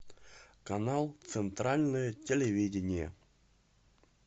канал центральное телевидение